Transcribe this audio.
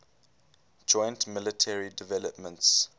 joint military developments